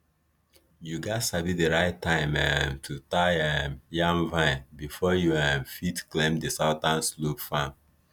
you gats sabi di right time um to tie um yam vine before you um fit claim di southern slope farm